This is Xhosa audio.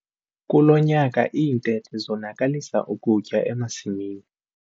Kulo nyaka iintethe zonakalisa ukutya emasimini.